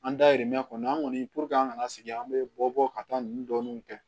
An dayirimɛ kɔni an kɔni puruke an kana sigi an be bɔ ka taa nun dɔɔni kɛ